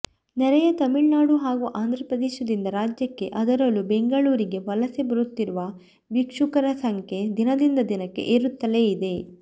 ನೆರೆಯ ತಮಿಳುನಾಡು ಹಾಗೂ ಆಂಧ್ರಪ್ರದೇಶದಿಂದ ರಾಜ್ಯಕ್ಕೆ ಅದರಲ್ಲೂ ಬೆಂಗಳೂರಿಗೆ ವಲಸೆ ಬರುತ್ತಿರುವ ಭಿಕ್ಷುಕರ ಸಂಖ್ಯೆ ದಿನದಿಂದ ದಿನಕ್ಕೆ ಏರುತ್ತಲೇ ಇದೆ